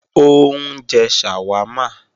Ó ń jẹ ṣàwámà